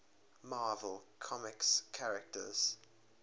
marvel comics characters